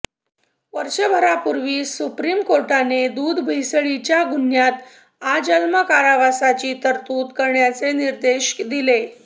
वर्षभरापूर्वी supreme कोर्टाने दूधभेसळीच्या गुन्ह्यात आजन्म कारावासाची तरतूद करण्याचे निर्देश दिले